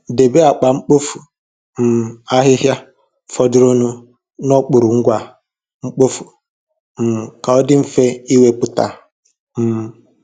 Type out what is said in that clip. Debe akpa mkpofu um ahịhịa fọdụrụnụ n'okpuru ngwa mkpofu, um ka ọ dị mfe ị wepụta um